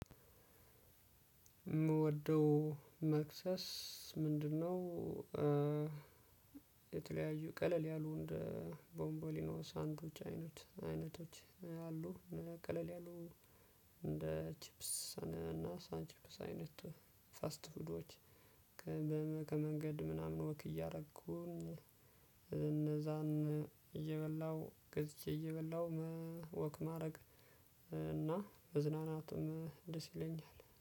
የምወደው መክሰስ ምንድነው? ቀለል ያሉ እንደ ቦንቦሊኖ ሳንዱች አይነት አይነቶች አሉ እነዚያ ቀለል ያሉ እንደ ቺፕስ እና ሳን ቺፕስ አይነት ፋስት ፉዶች። ከመንገድ ምናምን ወክ እያደረኩኝ እነዛን እየበላሁ ገዝቼ እየበላሁ መወክ ማድረግ እና መዝናናትም ደስ ይለኛል